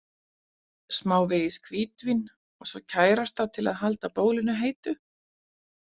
Smávegis hvítvín og svo kærasta til að halda bólinu heitu.